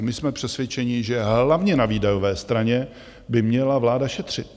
A my jsme přesvědčeni, že hlavně na výdajové straně by měla vláda šetřit.